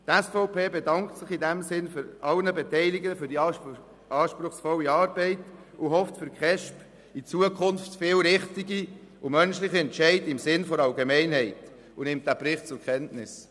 Die SVP-Fraktion bedankt sich in diesem Sinne bei allen Beteiligten für die anspruchsvolle Arbeit, hofft zukünftig fest auf viele richtige und menschliche Entscheide im Sinne der Allgemeinheit, und nimmt diesen Bericht zur Kenntnis.